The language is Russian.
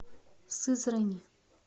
сызрани